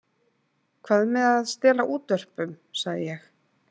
Hvað með að stela útvörpum, sagði ég.